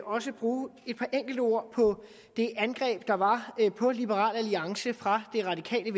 også bruge et par enkelte ord på det angreb der var på liberal alliance fra det radikale